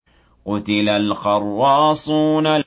قُتِلَ الْخَرَّاصُونَ